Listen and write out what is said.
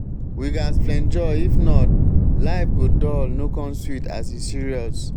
we ghas flenjo if not life go dull no come sweet as e serious.